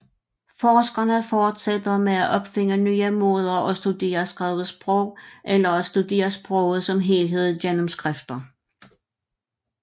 Forskerne fortsætter med at opfinde nye måder at studere skrevet sprog eller at studere sproget som helhed gennem skrifter